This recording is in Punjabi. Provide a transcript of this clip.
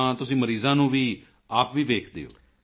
ਤਾਂ ਤੁਸੀਂ ਮਰੀਜ਼ਾਂ ਨੂੰ ਵੀ ਆਪ ਵੀ ਵੇਖਦੇ ਹੋ